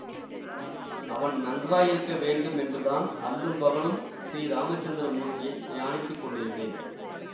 அவன் நன்றாயிருக்க வேண்டுமென்றுதான் அல்லும் பகலும் ஸ்ரீ ராமச்சந்திர மூர்த்தியைத் தியானித்துக் கொண்டிருந்தேன்